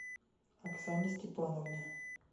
оксане степановне